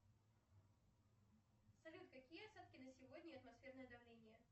салют какие осадки на сегодня и атмосферное давление